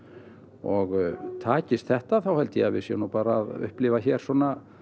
og takist þetta þá held ég að við séum bara að upplifa hér svona